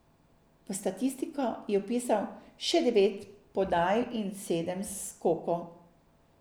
V statistiko je vpisal še devet podaj in sedem skokov.